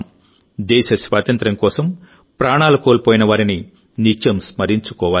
దేశ స్వాతంత్ర్యం కోసం ప్రాణాలు కోల్పోయినవారిని నిత్యం స్మరించుకోవాలి